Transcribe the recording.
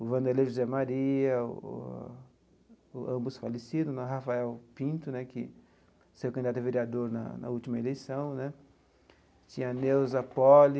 o Vanderlei José Maria, ambos falecidos né, Rafael Pinto né, que se candidatou a vereador na na última eleição né, tinha Neusa Poli,